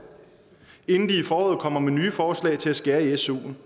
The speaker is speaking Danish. inden de i foråret kommer med nye forslag til at skære i suen